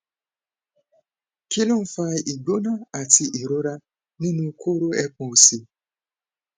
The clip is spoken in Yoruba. kí ló ń fa igbona àti ìrora nínú koro epon òsì